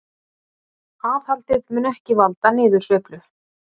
Aðhaldið mun ekki valda niðursveiflu